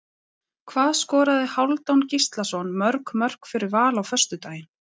Hvað skoraði Hálfdán Gíslason mörg mörk fyrir Val á föstudaginn?